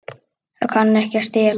Það kann ekki að stela.